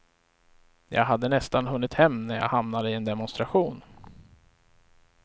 Jag hade nästan hunnit hem när jag hamnade i en demonstration.